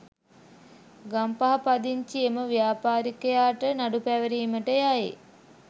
ගම්පහ පදිංචි එම ව්‍යාපාරිකයාට නඩු පැවරීමට යයි.